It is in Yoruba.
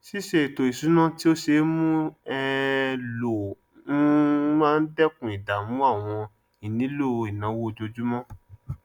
ṣíṣe ètò ìṣúná tí ó ṣe é mú um lò um máa n dẹkun ìdààmú àwọn ìnílò ìnáwó ojoojúmọ